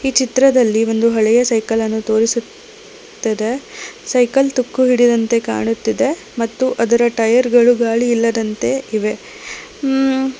ಚಿತ್ರದಲ್ಲಿ ಒಂದು ಹಳೆಯ ಸೈಕಲ್ ತೋರಿಸುತ್ತಿದೆ ಸೈಕಲ್ ತುಕ್ಕು ಹಿಡಿದಂತೆ ಕಾಣುತ್ತಿದೆ ಮತ್ತು ಅದರ ಟಯರ್ ಗಳು ಗಾಳಿ ಇಲ್ಲದಂತೆ ಇವೆ.